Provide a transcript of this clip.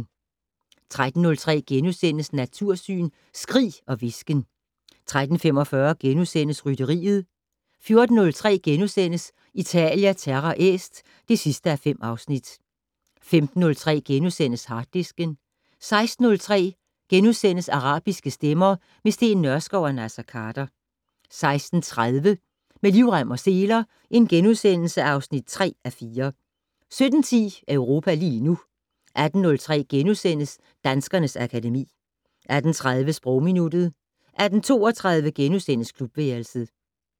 13:03: Natursyn: Skrig og hvisken * 13:45: Rytteriet * 14:03: Italia Terra Est (5:5)* 15:03: Harddisken * 16:03: Arabiske stemmer - med Steen Nørskov og Naser Khader * 16:30: Med livrem og seler (3:4)* 17:10: Europa lige nu 18:03: Danskernes akademi * 18:30: Sprogminuttet 18:32: Klubværelset *